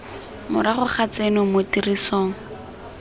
morago ga tseno mo tirisong